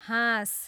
हाँस